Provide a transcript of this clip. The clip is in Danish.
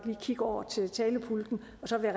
kigge over til talerpulten og så vil